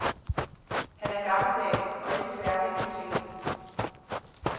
Han er gammeldags og ikke særlig nytænkende.